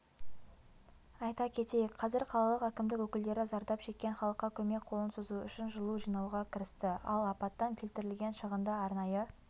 айта кетейік қазір қалалық әкімдік өкілдері зардап шеккен халыққа көмек қолын созу үшін жылу жинауға кірісті ал апаттан келтірілген шығынды арнайы